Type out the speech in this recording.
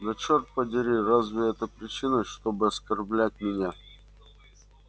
да черт подери разве это причина чтобы оскорблять меня